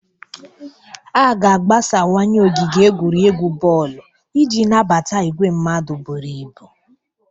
A ga-agbasawanye ogige egwuregwu bọọlụ iji nabata igwe mmadụ buru ibu.